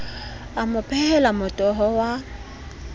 a mo phehela motoho wa